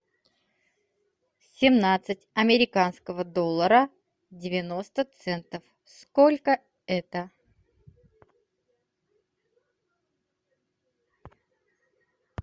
семнадцать американского доллара девяносто центов сколько это